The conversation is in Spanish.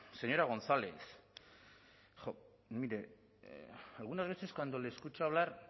señora gonzález jo mire algunas veces cuando le escucho hablar